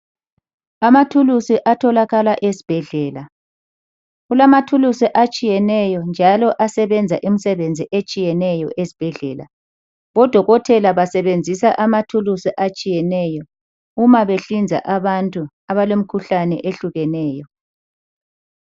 Amathulusi atholakala esibhedlela, kulamathulusi atshiyeneyo njalo asebenza imisebenzi etshiyeneyo ezibhedlela. Odokotela basebezisa amathulusi atshiyeneyo uma behlinza abantu abalemkhuhlane ehlukeneyo